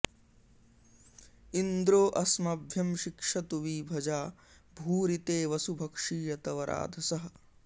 इन्द्रो अस्मभ्यं शिक्षतु वि भजा भूरि ते वसु भक्षीय तव राधसः